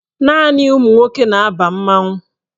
Naanị ụmụnwoke na-aba mmanwụ.